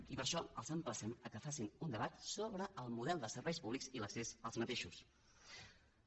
i per això els emplacem que facin un debat sobre el model de serveis públics i l’accés als serveis públics